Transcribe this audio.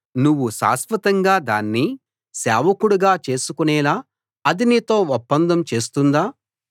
నువ్వు శాశ్వతంగా దాన్ని సేవకుడుగా చేసుకునేలా అది నీతో ఒప్పందం చేస్తుందా